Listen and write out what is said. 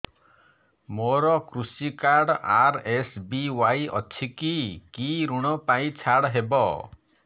ମୋର କୃଷି card RSBY ଅଛି କି କି ଋଗ ପାଇଁ ଛାଡ଼ ହବ